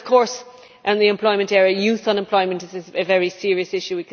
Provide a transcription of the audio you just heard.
Of course, within the employment area, youth unemployment is a very serious issue.